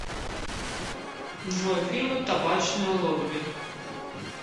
джой фильмы табачное лобби